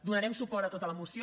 donarem suport a tota la moció